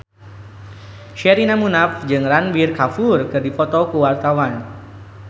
Sherina Munaf jeung Ranbir Kapoor keur dipoto ku wartawan